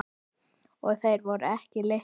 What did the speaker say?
Og þeir voru ekki litlir.